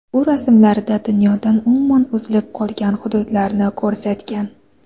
U rasmlarida dunyodan umuman uzilib qolgan hududlarni ko‘rsatgan.